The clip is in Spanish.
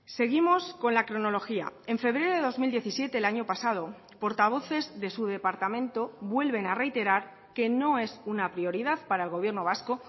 seguimos con la cronología en febrero de dos mil diecisiete el año pasado portavoces de su departamento vuelven a reiterar que no es una prioridad para el gobierno vasco